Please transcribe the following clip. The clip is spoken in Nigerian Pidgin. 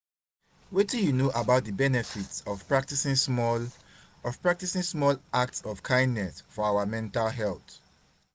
wetin you know about di benefits of practicing small of practicing small acts of kindness for our mental health?